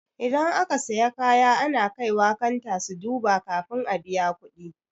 Idan aka siya kaya ana kaiwa kanta su duba kafin a biya kuɗi.